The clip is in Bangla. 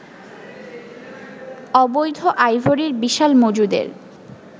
অবৈধ আইভরির বিশাল মজুদের